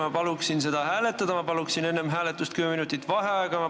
Ma palun seda hääletada ja enne hääletust kümme minutit vaheaega!